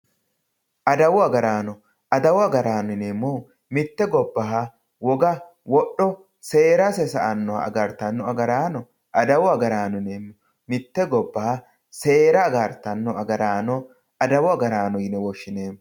Addawu agarano addawu agarano yenemohu mitte gobbaha wogga wodho seerasse sa"anoha agaritano agaranno addawu agarano yinemo mitte gobbaha seera agartano agarano addawu agarano yine woshinemo